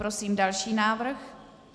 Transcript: Prosím další návrh.